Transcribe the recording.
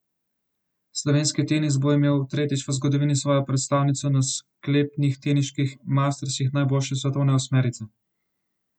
Slovenski tenis bo imel tretjič v zgodovini svojo predstavnico na sklepnih teniških mastersih najboljše svetovne osmerice.